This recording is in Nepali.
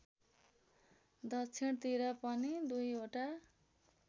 दक्षिणतिर पनि दुईवटा